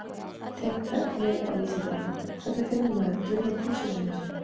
Tengt efni á Vísindavefnum: Hvernig finnur maður draumaprinsessuna sína?